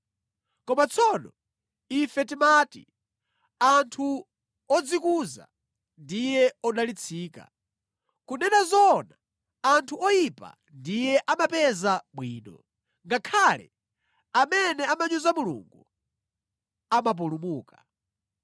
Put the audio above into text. Koma tsono ife timati anthu odzikuza ndiye odalitsika. Kunena zoona anthu oyipa ndiye amapeza bwino, ngakhale amene amanyoza Mulungu amapulumuka.’ ”